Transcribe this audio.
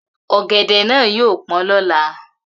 Ogede na yio po lola.